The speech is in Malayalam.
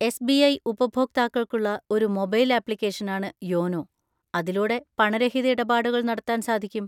എസ്.ബി.ഐ. ഉപഭോക്താക്കൾക്കുള്ള ഒരു മൊബൈൽ ആപ്ലിക്കേഷനാണ് യോനോ, അതിലൂടെ പണരഹിത ഇടപാടുകൾ നടത്താൻ സാധിക്കും.